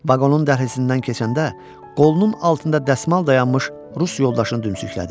Vaqonun dəhlizindən keçəndə qolunun altında dəsmal dayanmış rus yoldaşını dümsüklədi.